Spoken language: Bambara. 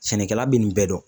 Sɛnɛkɛla bi nin bɛɛ dɔn